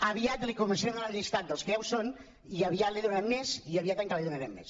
aviat li començaré a donar el llistat dels que ja hi són i aviat l’hi donarem més i aviat encara l’hi donarem més